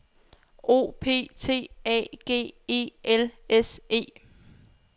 O P T A G E L S E